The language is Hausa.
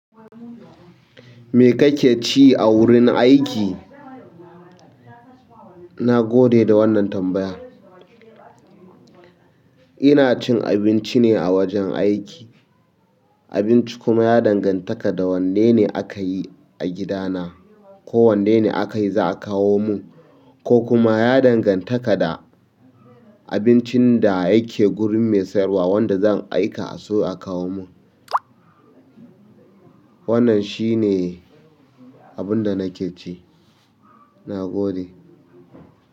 Me kake ci a wurin aiki? Na gode da wannan tambaya. Ina cin abinci ne a wajen aiki. Abinci kuma ya dangantaka da wannene akayi a gidana ko wanne akayi zaa kawo min kokuma ya dangantaka da abincin da yake gurin mai siyar wa wanda zan aika a siyo a kawo mun. Wannan shi ne abin da nake ci. Na gode.